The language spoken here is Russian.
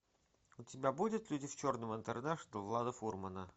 у тебя будет люди в черном интернэшнл влада фурмана